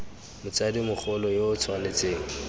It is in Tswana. motsadi mogolo yo o tshwanetseng